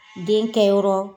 Den kɛ yɔrɔ